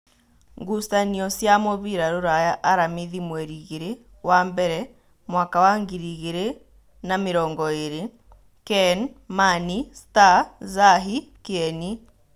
Ngucanio cia mũbira Ruraya Aramithi mweri igĩrĩ wambere mwaka wa ngiri igĩrĩ na namĩrongoĩrĩ: Ken, Mani, Star, Zahi, Kĩeni